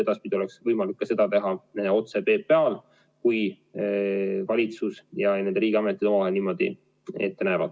Edaspidi oleks võimalik seda teha ka otse PPA-l, kui valitsus ja riigiametid omavahel niimoodi ette näevad.